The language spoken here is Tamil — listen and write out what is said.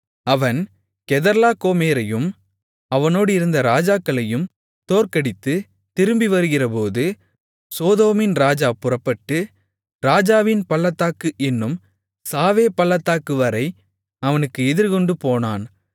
அவன் கெதர்லாகோமேரையும் அவனோடிருந்த ராஜாக்களையும் தோற்கடித்துத் திரும்பிவருகிறபோது சோதோமின் ராஜா புறப்பட்டு ராஜாவின் பள்ளத்தாக்கு என்னும் சாவே பள்ளத்தாக்குவரை அவனுக்கு எதிர்கொண்டுபோனான்